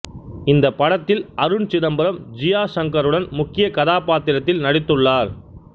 இந்த படத்தில் அருண் சிதம்பரம் ஜியா ஷங்கருடன் முக்கிய கதாபாத்திரத்தில் நடித்துள்ளார்